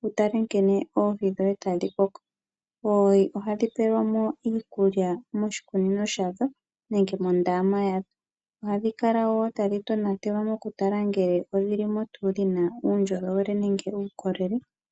wu tale nkene oohi dhoye tadhi koko. Oohi ohadhi pewelwamo iikulya moshikunino shadho nenge mondama yadho. Ohadhi kala woo tadhi tonatelwa mokutala ngele odhilimo tuu dhina uundjolowele nenge uukolele.